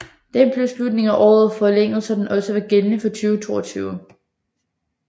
Den blev i slutningen af året forlænget så den også var gældende for 2022